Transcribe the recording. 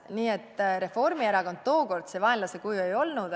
Nii et Reformierakond tookord see vaenlase kuju ei olnud.